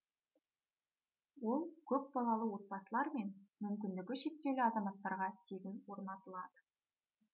ол көпбалалы отбасылар мен мүмкіндігі шектеулі азаматтарға тегін орнатылады